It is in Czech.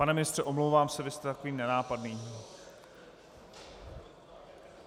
Pane ministře, omlouvám se, vy jste takový nenápadný.